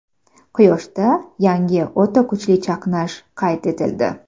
Quyoshda yangi o‘ta kuchli chaqnash qayd etildi.